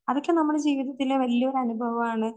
അതൊക്കെ നമ്മുടെ ജീവിതത്തിലെ വല്ല്യരനുഭവമാണ്.